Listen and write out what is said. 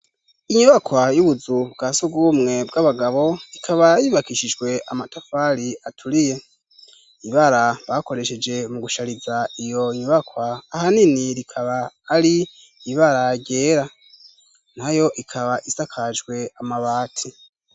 Inyubakwa y'ubuzu bwa surwumwe bw'abagabo, ikaba yubakishijwe amatafari aturiye. Ibara bakoresheje mu gushariza iyo nyubakwa ahanini rikaba ari ibara ryera, na yo ikaba isakajwe amabati.